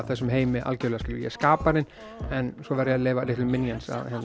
þessum heimi algjörlega skilurðu ég er skaparinn en svo verð ég að leyfa litlu minions